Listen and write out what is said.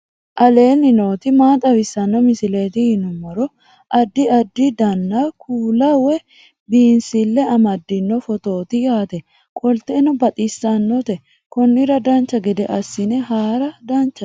aleenni nooti maa xawisanno misileeti yinummoro addi addi dananna kuula woy biinsille amaddino footooti yaate qoltenno baxissannote konnira dancha gede assine haara danchate